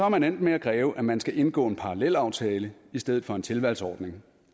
man endt med at kræve at man skal indgå en parallelaftale i stedet for en tilvalgsordning